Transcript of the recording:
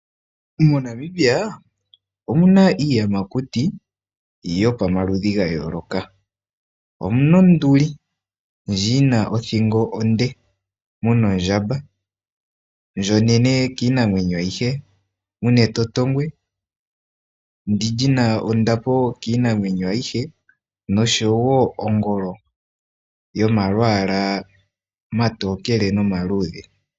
MoNamibia omuna iiyamakuti yomaludhi ga yooloka, omuna onduli ndjono yina othingo onde, muna Ondjamba ndjoka onene kiinamwenyo ayihe, muna Etotongwe ndyoka lina ondapo kiinamwenyo ayihe, noshowo Ongolo yomalwaala omatokele nomaluudhe.